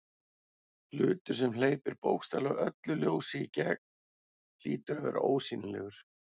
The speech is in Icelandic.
Hlutur sem hleypir bókstaflega öllu ljósi í gegn hlýtur að vera ósýnilegur.